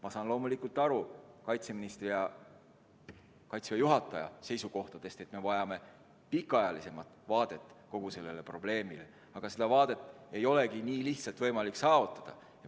Ma saan loomulikult aru kaitseministri ja Kaitseväe juhataja seisukohtadest, et me vajame pikemaajalisemat vaadet kogu sellele probleemile, aga seda vaadet ei olegi nii lihtsalt võimalik saavutada.